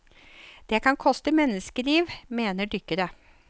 Det kan koste menneskeliv, mener dykkere.